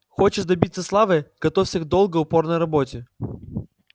хочешь добиться славы готовься к долгой упорной работе